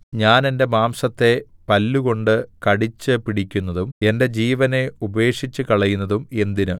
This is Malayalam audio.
ഞാൻ എന്റെ മാംസത്തെ പല്ലുകൊണ്ട് കടിച്ചുപിടിക്കുന്നതും എന്റെ ജീവനെ ഉപേക്ഷിച്ചുകളയുന്നതും എന്തിന്